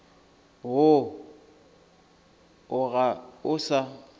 woo o ga o sa